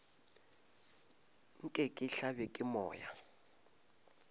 nke ke hlabje ke moya